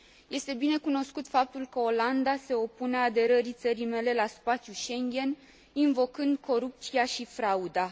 Este binecunoscut faptul că Olanda se opune aderării țării mele la spațiul Schengen invocând corupția și frauda.